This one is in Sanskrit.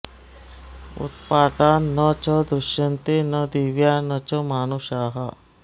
उत्पाता न च दृश्यन्ते न दिव्या न च मानुषाः